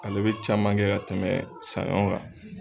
Ale be caman kɛ ka tɛmɛ sanɲɔ kan